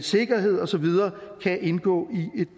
sikkerhed og så videre kan indgå i et